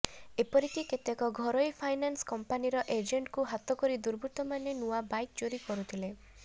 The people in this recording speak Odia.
ଏପରିକି କେତେକ ଘରୋଇ ଫାଇନାନ୍ସ କମ୍ପାନୀର ଏଜେଣ୍ଟଙ୍କୁ ହାତ କରି ଦୁର୍ବୃତ୍ତମାନେ ନୂଆ ବାଇକ ଚୋରି କରୁଥିଲେ